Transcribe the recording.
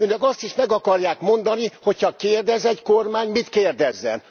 Önök azt is meg akarják mondani, hogyha kérdez egy kormány, mit kérdezzen.